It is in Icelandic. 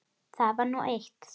Það var nú eitt.